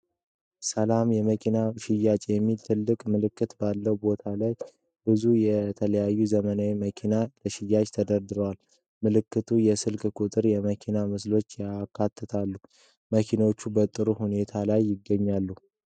“ሰላም የመኪና ሽያጭ” የሚል ትልቅ ምልክት ባለበት ቦታ ላይ ብዙ የተለያዩ ዘመናዊ መኪናዎች ለሽያጭ ተደርድረዋል። ምልክቱ የስልክ ቁጥሮችንና የመኪና ምስሎችን ያካትታል። መኪናዎቹ በጥሩ ሁኔታ ላይ ይገኛሉ?